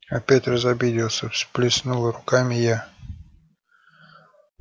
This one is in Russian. опять разобиделся всплеснула руками я